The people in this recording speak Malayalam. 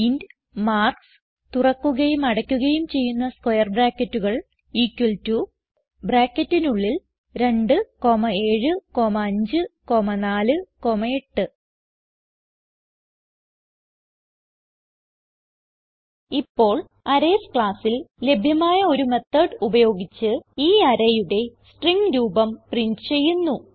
ഇന്റ് മാർക്ക്സ് തുറക്കുകയും അടയ്ക്കുകയും ചെയ്യുന്ന സ്ക്വയർ ബ്രാക്കറ്റുകൾ ഇക്വൽ ടോ ബ്രാക്കറ്റിനുള്ളിൽ 2 7 5 4 8 ഇപ്പോൾ അറേയ്സ് classൽ ലഭ്യമായ ഒരു മെത്തോട് ഉപയോഗിച്ച് ഈ arrayയുടെ സ്ട്രിംഗ് രൂപം പ്രിന്റ് ചെയ്യുന്നു